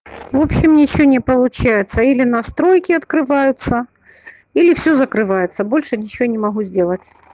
в общем ничего не получается или настройки открываются или все закрывается больше ничего не могу сделать